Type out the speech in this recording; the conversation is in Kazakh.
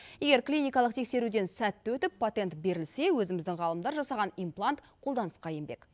егер клиникалық тексеруден сәтті өтіп патент берілсе өзіміздің ғалымдар жасаған имплант қолданысқа енбек